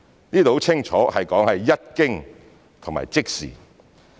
這是很清楚說明"一經"及"即時"。